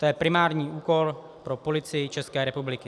To je primární úkol pro Policii České republiky.